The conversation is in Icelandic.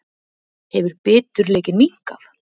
Hefur biturleikinn minnkað?